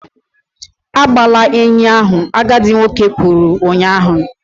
Agbala enyi ahụ! agadi nwoke kwuru ụnyahụ